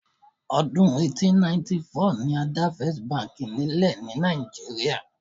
Ọdún 1894 ni a dá báǹkì Àkọ́kọ́ nílẹ̀ Nàìjíríà